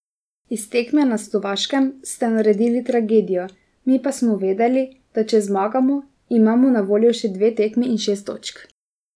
Iz tekme na Slovaškem ste naredili tragedijo, mi pa smo vedeli, da če zmagamo, imamo na voljo še dve tekmi in šest točk.